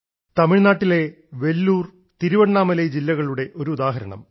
തമിഴ്നാട്ടിലെ വെല്ലൂർ തിരുവണ്ണാമല ജില്ലകളുടെ ഒരു ഉദാഹരണം